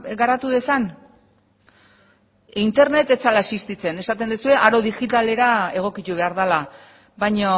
garatu dezan internet ez zela existitzen esaten duzue aro digitalera egokitu behar dela baina